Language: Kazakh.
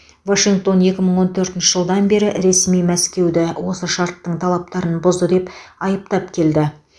вашингтон екі мың он төртінші жылдан бері ресми мәскеуді осы шарттың талаптарын бұзды деп айыптап келді